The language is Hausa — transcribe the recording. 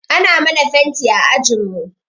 Ana mana fenti a ajinmu.